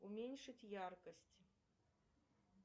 уменьшить яркость